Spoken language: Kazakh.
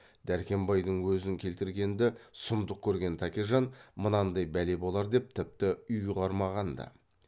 дәркембайдың өзін келтіргенді сұмдық көрген тәкежан мынандай бәле болар деп тіпті ұйғармағанда